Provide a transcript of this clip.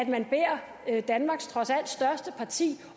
da danmarks trods alt største parti